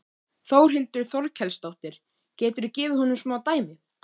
Þórhildur Þorkelsdóttir: Geturðu gefið okkur smá dæmi?